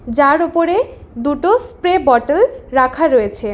যার উপরে দুটো স্প্রে বটাল রাখা রয়েছে।